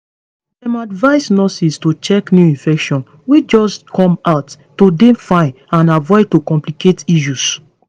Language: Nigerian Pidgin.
dem advise nurses to check new infections wey just come out to dey fine and avoid to complicate issues